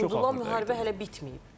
Və unudulan müharibə hələ bitməyib.